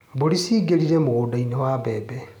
Mbũri ciingĩrire mũgũndainĩ wa mbembe.